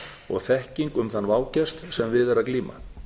og þekking um þann vágest sem við er að glíma